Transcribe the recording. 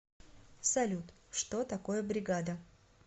салют что такое бригада